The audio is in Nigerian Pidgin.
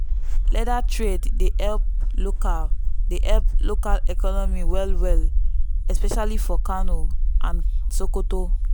leather trade dey help local dey help local economy well well especially for kano and sokoto.